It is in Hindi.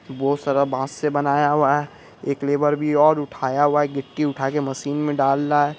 बहुत सारा मास्क से बनाया हुआ हैं। एक लेबर भी और उठाया हुआ है गिट्टी उठाके मशीन मे डाल रहा हैं।